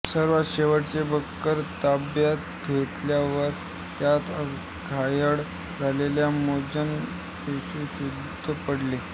सर्वात शेवटचे बंकर ताब्यात घेतल्यावर अत्यंत घायाळ झाल्याने मनोज बेशुद्ध पडले